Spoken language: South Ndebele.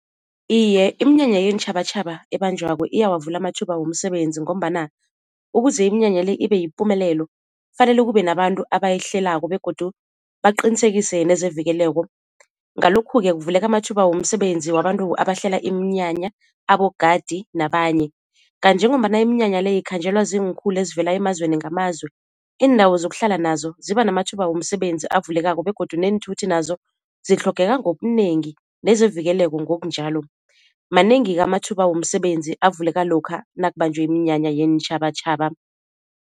Iye iminyanya yeentjhabatjhaba ebanjwako iyawavula amathuba womsebenzi, ngombana ukuze iminyanya le ibe yipumelelo kufanele kube nabantu abayihlelako begodu baqinisekise nezevikeleko ngalokhu-ke kuvuleka amathuba womsebenzi wabantu abahlela iminyanya, abogadi nabanye. Kanti njengombana iminyanya le ikhanjelwa ziinkhulu ezivela emazweni ngamazwe, iindawo zokuhlala nazo ziba namathuba womsebenzi avulekako begodu neenthuthi nazo zitlhogeka ngobunengi nezevikeleko ngokunjalo. Manengi-ke amathuba womsebenzi avuleka lokha nakubanjwe iminyanya yeentjhabatjhaba.